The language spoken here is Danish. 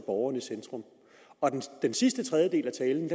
borgeren i centrum den sidste tredjedel af talen